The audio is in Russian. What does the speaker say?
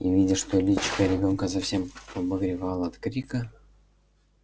и видя что личико ребёнка совсем побагровело от крика